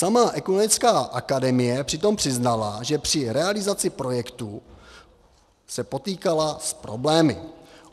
Sama Ekumenická akademie přitom přiznala, že při realizaci projektu se potýkala s problémy.